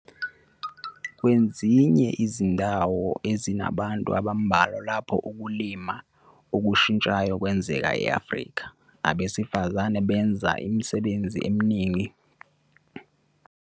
Kwezinye izifunda ezinabantu abambalwa lapho ukulima okushintshayo kwenzeka e-Afrika, abesifazane benza umsebenzi omningi. Lokhu kuvuna imishado yesithembu lapho abesilisa befuna ukulawula ukukhiqizwa kwabesifazane "abaziswa njengabasebenzi nanjengabathwali bezingane".